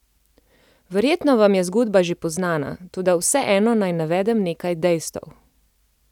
Verjetno vam je zgodba že poznana, toda vseeno naj navedem nekaj dejstev.